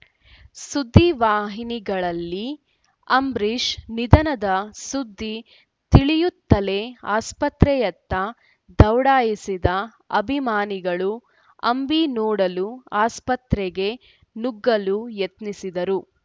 ಸುದ್ದಿವಾಹಿನಿಗಳಲ್ಲಿ ಅಂಬರೀಷ್‌ ನಿಧನದ ಸುದ್ದಿ ತಿಳಿಯುತ್ತಲೇ ಆಸ್ಪತ್ರೆಯತ್ತ ದೌಡಾಯಿಸಿದ ಅಭಿಮಾನಿಗಳು ಅಂಬಿ ನೋಡಲು ಆಸ್ಪತ್ರೆಗೆ ನುಗ್ಗಲು ಯತ್ನಿಸಿದರು